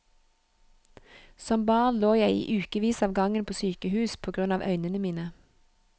Som barn lå jeg i ukevis av gangen på sykehus på grunn av øynene mine.